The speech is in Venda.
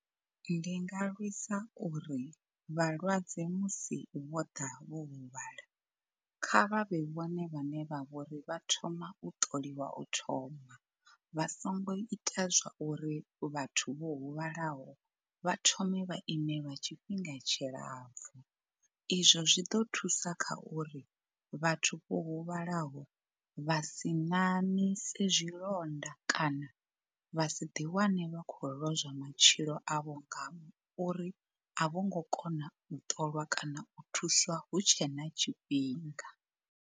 Ndi nga lwisa uri vhalwadze musi vho ḓa vho huvhala kha vha vhe vhone vhane vha vhori vha thoma u ṱoliwa u thoma, vha songo ita zwa uri vhathu vho huvhalaho vha thome vha ime lwa tshifhinga tshilapfhu. Izwo zwi ḓo thusa kha uri vhathu vho huvhalaho vha si ṋaṋise zwilonda kana vha si ḓi wane vha khou lozwa matshilo avho nga uri a vho ngo kona u ṱolwa kana u thuswa hu tshe na tshifhinga.